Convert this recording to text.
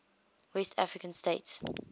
west african states